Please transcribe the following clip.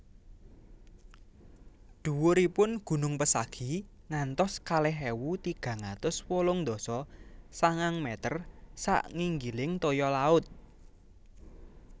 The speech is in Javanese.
Dhuwuripun gunung Pesagi ngantos kalih ewu tigang atus wolung dasa sanga meter sak nginggiling toya laut